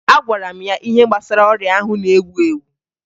Agwara m ya ihe gbasara ọrịa ahụ na-ewu ewu